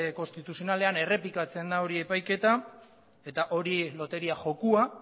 konstituzionalean errepikatzen da hori epaiketa eta hori loteria jokoa